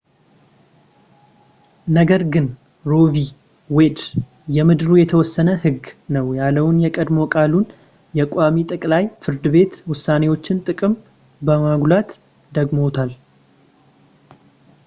ነገር ግን ሮ ቪ ዌድ የምድሩ የተወሰነ ህግ ነው ያለውን የቀድሞ ቃሉን የቋሚ ጠቅላይ ፍርድ ቤት ውሳኔዎችን ጥቅም በማጉላት ደግሞታል